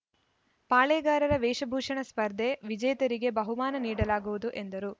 ಪಾಳೇಗಾರರ ವೇಷಭೂಷಣ ಸ್ಪರ್ಧೆ ವಿಜೇತರಿಗೆ ಬಹುಮಾನ ನೀಡಲಾಗುವುದು ಎಂದರು